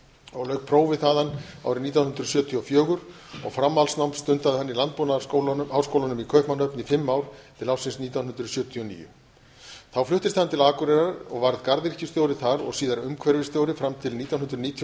og lauk prófi þaðan árið nítján hundruð sjötíu og fjögur og framhaldsnám stundaði hann í landbúnaðarháskólanum í kaupmannahöfn í fimm ár til ársins nítján hundruð sjötíu og níu þá fluttist hann til akureyrar og varð garðyrkjustjóri þar og síðar umhverfisstjóri til nítján hundruð níutíu og